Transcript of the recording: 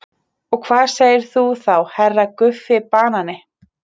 Gríska leikritaskáldið Aristófanes skopstældi harmleiki eftir Evripídes.